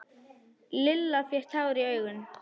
Lilla fékk tár í augun.